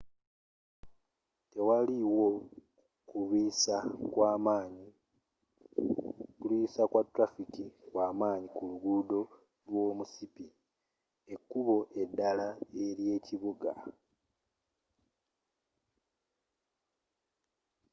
tewaliwo kulwiisa kwa tulafiki kwamanyi ku luguudo lwomusipi ekkubo eddala ery'ekibuga